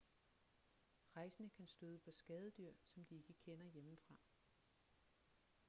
rejsende kan støde på skadedyr som de ikke kender hjemmefra